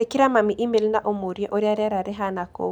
Andĩkĩra mami e-mail na ũmũũrie ũrĩa rĩera rĩhaana kũu.